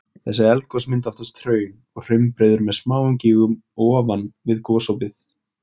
Þessi eldgos mynda oftast hraun og hraunbreiður með smáum gígum ofan við gosopið.